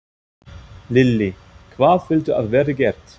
Lillý: Hvað viltu að verði gert?